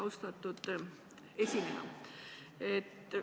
Austatud esineja!